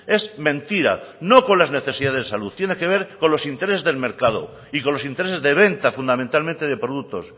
es mentira no con las necesidades de salud tiene que ver con los intereses del mercado y con los intereses de venta fundamentalmente de productos